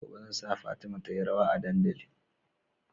Gobe zan sa fatima tayi rawa a dandali